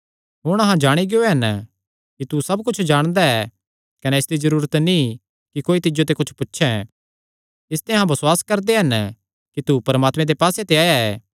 हुण अहां जाणी गियो हन कि तू सब कुच्छ जाणदा ऐ कने इसदी जरूरत नीं कि कोई तिज्जो ते कुच्छ पुछे इसते अहां बसुआस करदे हन कि तू परमात्मे दे पास्से ते आया ऐ